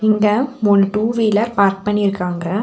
இங்க மூணு two wheeler park பண்ணிருக்காங்க.